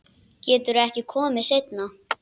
Geturðu ekki komið seinna?